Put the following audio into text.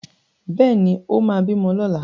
Bẹ́ẹ̀ ni, ó máa bímọ lọ́la.